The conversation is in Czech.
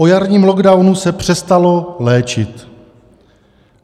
O jarním lockdownu se přestalo léčit.